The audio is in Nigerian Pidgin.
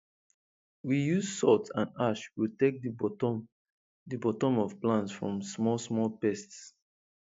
we use salt and ash protect the bottom the bottom of plants from small small pests